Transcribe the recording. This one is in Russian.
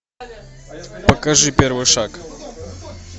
покажи первый шаг